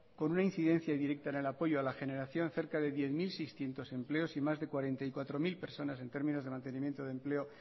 con una incidencia directa en el apoyo a la generación cerca de diez mil seiscientos empleos y más de cuarenta y cuatro mil personas en términos de mantenimiento de empleo